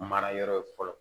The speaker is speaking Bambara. Mara yɔrɔ ye fɔlɔ